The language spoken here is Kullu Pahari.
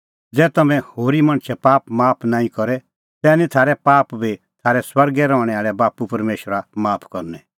ज़ै तम्हैं होरी मणछे पाप माफ नांईं करे तै निं थारै पाप बी थारै स्वर्गै रहणैं आल़ै बाप्पू परमेशरा माफ करनै